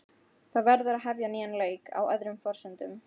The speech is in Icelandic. Það verður að hefja nýjan leik, á öðrum forsendum.